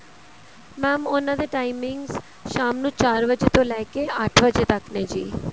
mam ਉਹਨਾ ਦੇ timings ਸ਼ਾਮ ਨੂੰ ਚਾਰ ਵਜੇ ਤੋਂ ਲੈਕੇ ਅੱਠ ਵਜੇ ਤੱਕ ਨੇ ਜੀ